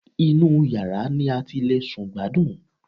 Inú yàrá ni a ti le sùn gbádùn